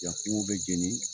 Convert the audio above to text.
Yan kungow bɛ jeni